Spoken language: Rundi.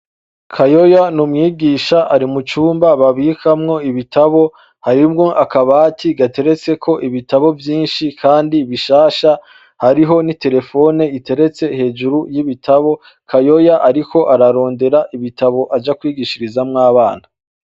Kayoya n’umwigisha ari mucumba babikamwo ibitabo, harimwo akabati gateretseko ibitabo vyinshi kandi bishasha hariho ni terefone iteretse hejuru y’ibitabo. Kayoya ariko ararondera ibitabo aja kwigishirizamwo abana.